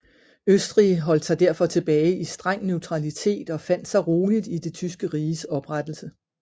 Østrig holdt sig derfor tilbage i streng neutralitet og fandt sig roligt i Det Tyske Riges oprettelse